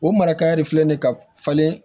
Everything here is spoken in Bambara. O mara kaɲi filɛ nin ye ka falen